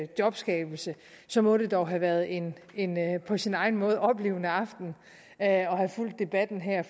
jobskabelse så må det dog have været en på sin egen måde oplivende aften at have fulgt debatten her